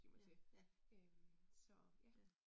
Ja. Ja. Ja